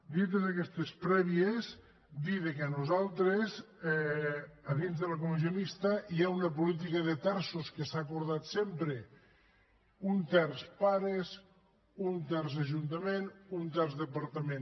dites aquestes prèvies dir que nosaltres dins de la comissió mixta hi ha una política de terços que s’ha acordat sempre un terç pares un terç ajuntament un terç departament